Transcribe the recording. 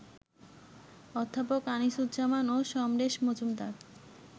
অধ্যাপক আনিসুজ্জামান ও সমরেশ মজুমদার